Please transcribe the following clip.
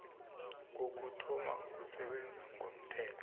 kokuthoma ukusebenza komthetho